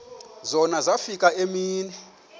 zona zafika iimini